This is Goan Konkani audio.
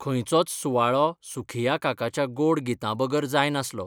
खंयचोच सुवाळो सुखिया काकाच्या गोड गितां बगर जाय नासलो.